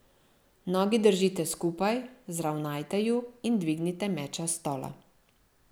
Nogi držite skupaj, zravnajte ju in dvignite meča s stola.